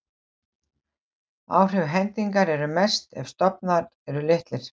Áhrif hendingar eru mest ef stofnar eru litlir.